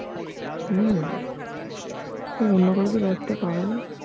হম অন্য কাউকে ব্যাস্ত পাবেনা